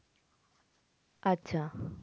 আচ্ছা